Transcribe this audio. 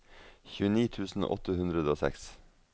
tjueni tusen åtte hundre og seks